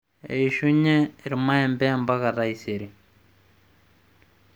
eshunye irmaembe mpaka taisere